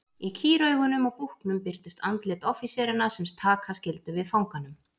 Í kýraugunum á búknum birtust andlit offíseranna sem taka skyldu við fanganum.